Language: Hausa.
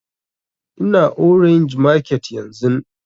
Ina orange market yanzun